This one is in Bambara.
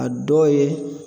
A dɔw ye